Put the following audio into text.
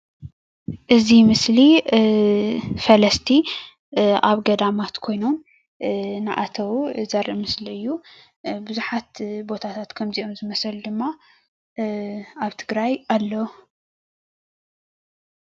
እዚ ምስሊ ፈለስቲ ኣብ ገዳማት ኮይኖም እንኣተዉ ዘርኢ ምስሊ እዩ ብዙሓት ቦታታት ከምዚኦም ዝመሰሉ ድማ ኣብ ትግራይ ኣለዉ።